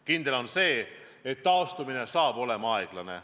Kindel on see, et taastumine saab olema aeglane.